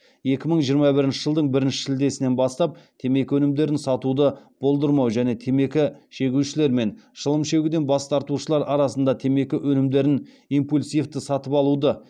екі мың жиырма бірінші жылдың бірінші шілдесінен бастап темекі өнімдерін сатуды болдырмау және темекі шегушілер мен шылым шегуден бас тартушылар арасында темекі өнімдерін импульсивті сатып алуды